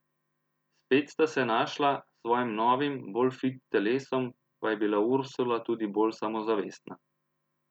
Spet sta se našla, s svojim novim, bolj fit telesom pa je bila Ursula tudi bolj samozavestna.